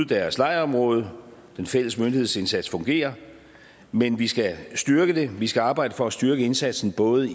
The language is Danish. deres lejrområde den fælles myndighedsindsats fungerer men vi skal styrke den vi skal arbejde for at styrke indsatsen både